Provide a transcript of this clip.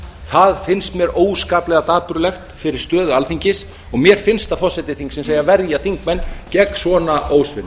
það finnst mér óskaplega dapurlegt fyrir stöðu alþingis og mér finnst að forseti þingsins eigi að verja þingmenn gegn svona ósvinnu